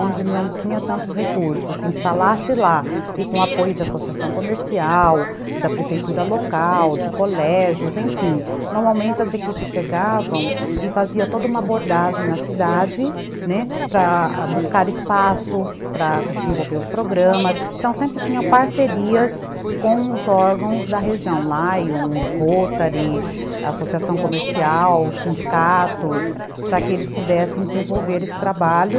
Onde não tinha tantos recursos, se instalasse lá e com apoio de associação comercial, da prefeitura local, de colégios, enfim. Normalmente as equipes chegavam e fazia toda uma abordagem na cidade, né, para buscar espaço para desenvolver os programas, então sempre tinha parcerias com os órgãos da região Lions, Rotary associação comercial, sindicatos, para que eles pudessem desenvolver esse trabalho.